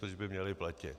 Proč by měli platit?